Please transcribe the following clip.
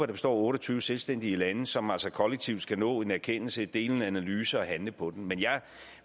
består af otte og tyve selvstændige lande som altså kollektivt skal nå en erkendelse dele en analyse og handle på den men jeg